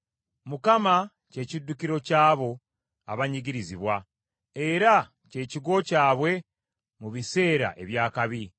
Mukama kye kiddukiro ky’abo abanyigirizibwa; era kye kigo kyabwe mu biseera eby’akabi.